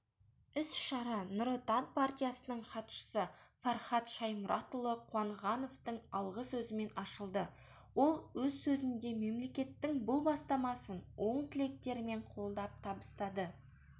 іс-шара нұр отан партиясының хатшысы фархад шаймұратұлы қуанғановтың алғы сөзімен ашылды ол өз сөзінде мемлекеттің бұл бастамасын оң тілектерімен қолдап табысты